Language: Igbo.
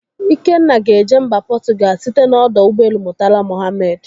Ikenna ga-eje mba Portugal site n'ọdọ ụgbọelu Murtala Mohammed.